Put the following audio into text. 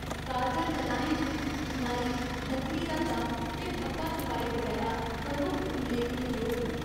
कारगर कलाएं च बुनाई, लकड़ी दा कम्म ते ठप्पा छपाई बगैरा प्रमुख उल्लेखने जोग न।